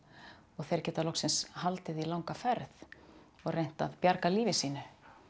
þeir geta loksins haldið í langa ferð og reynt að bjarga lífi sínu